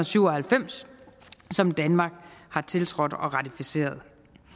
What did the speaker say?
syv og halvfems som danmark har tiltrådt og ratificeret